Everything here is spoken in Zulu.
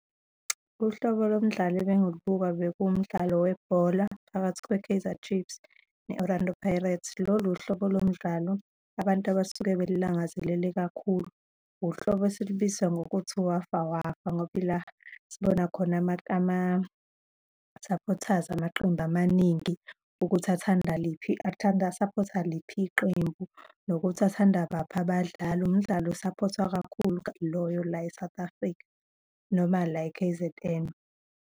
Uhlobo lomdlalo ebengilubuka bekuwumdlalo webhola phakathi kwe-Kaizer Chiefs ne-Orlando Pirates. Lolu uhlobo lomdlalo abantu abasuke belilangazelele kakhulu, uhlobo esilibiza ngokuthi uwafawafa, ngoba yila sibona khona ama-supporters amaqembu amaningi ukuthi athanda liphi, athanda, a-support-a liphi iqembu, nokuthi athanda bapha abadlali. Umdlalo o-support-wa kakhulu loyo la e-South Africa noma la e-K_Z_N.